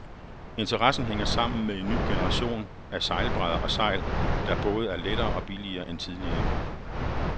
Interessen hænger sammen med en ny generation af sejlbrædder og sejl, der både er lettere og billigere end tidligere.